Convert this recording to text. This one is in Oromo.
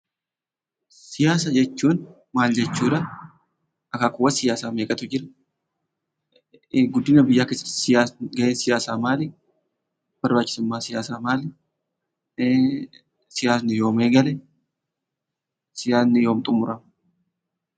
Siyaasa jechuun maal jechuudha? akaakuuwwan siyaasaa meeqatu jiru? Guddina biyyaa keessatti siyaasni gaheen siyaasaa maali? barbaachisummaan siyaasaa maali? siyaasni yoom eegale? siyaasni yoom xumurama?